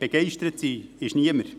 Begeistert ist niemand.